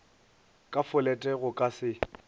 ka folete go ka se